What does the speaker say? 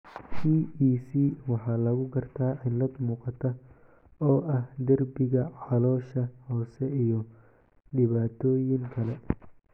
EEC waxaa lagu gartaa cillad muuqata oo ah derbiga caloosha hoose iyo dhibaatooyin kale.